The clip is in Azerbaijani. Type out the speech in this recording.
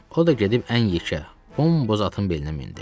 O da gedib ən yekə, qonur boz atın belinə mindi.